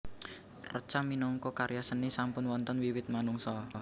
Reca minangka karya seni sampun wonten wiwit manungsa